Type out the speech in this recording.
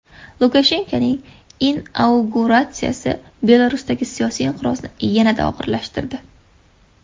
Lukashenkoning inauguratsiyasi Belarusdagi siyosiy inqirozni yanada og‘irlashtirdi.